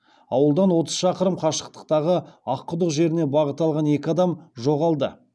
ауылдан отыз шақырым қашықтықтағы аққұдық жеріне бағыт алған екі адам жоғалды